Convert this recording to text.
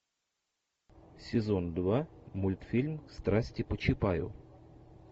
сезон два мультфильм страсти по чапаю